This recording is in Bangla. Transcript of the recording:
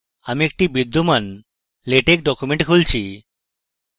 আমি একটি বিদ্যমান latex document খুলছি